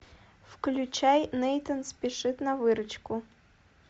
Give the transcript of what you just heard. включай нейтан спешит на выручку